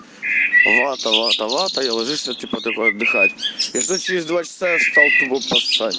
вата вата вата или ложишься типа такой отдыхать и что через два часа я встал тупо посать